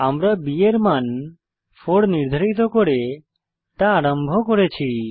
আমরা b এর মান 4 নির্ধারিত করে তা আরম্ভ করেছি